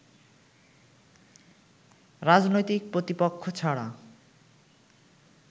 রাজনৈতিক প্রতিপক্ষ ছাড়া